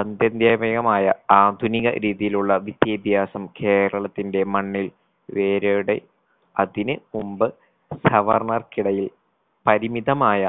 അത്യന്ത്യമേയമായ ആധുനിക രീതിയിലുള്ള വിദ്യാഭ്യാസം കേരളത്തിന്റെ മണ്ണിൽ വേരോടെ അതിന് മുമ്പ് സവർണ്ണർക്കിടയിൽ പരിമിതമായ